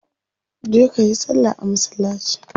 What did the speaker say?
Je kayi salla a masallaci